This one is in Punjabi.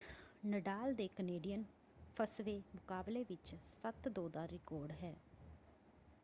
ਨਡਾਲ ਦੇ ਕਨੇਡੀਅਨ ਫੱਸਵੇਂ ਮੁਕਾਬਲੇ ਵਿੱਚ 7-2 ਦਾ ਰਿਕਾਰਡ ਹੈ।